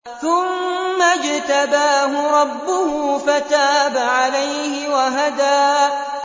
ثُمَّ اجْتَبَاهُ رَبُّهُ فَتَابَ عَلَيْهِ وَهَدَىٰ